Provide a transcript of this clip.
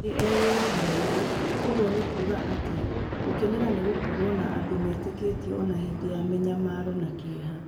Nĩ eyũragia ũũ: Ũguo nĩ kuuga atĩa "gũkenera gũkorũo na andũ metĩkĩtie o na hĩndĩ ya mĩnyamaro na kĩeha".